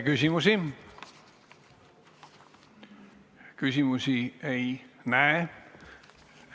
Küsimusi ei näe.